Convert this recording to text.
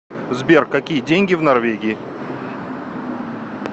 сбер какие деньги в норвегии